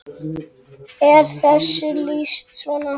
er þessu lýst svona